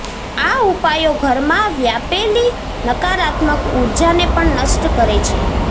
આ ઉપાયો ઘરમાં વ્યાપેલી નકારાત્મક ઊર્જાને પણ નષ્ટ કરે છે